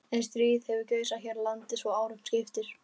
En stríð hefur geisað hér í landi svo árum skiptir.